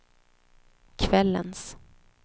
kvällens